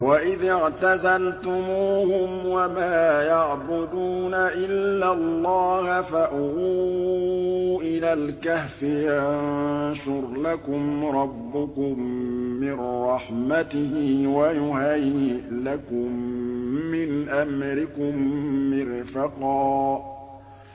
وَإِذِ اعْتَزَلْتُمُوهُمْ وَمَا يَعْبُدُونَ إِلَّا اللَّهَ فَأْوُوا إِلَى الْكَهْفِ يَنشُرْ لَكُمْ رَبُّكُم مِّن رَّحْمَتِهِ وَيُهَيِّئْ لَكُم مِّنْ أَمْرِكُم مِّرْفَقًا